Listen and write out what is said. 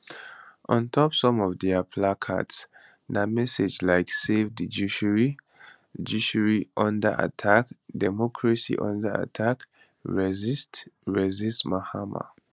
on top some of dia placards na messages like savethejuiciary judiciaryunderattack democracyunderattack resist resist mahama